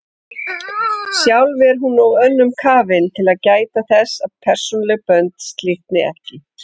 Sjálf er hún of önnum kafin til að gæta þess að persónuleg bönd slitni ekki.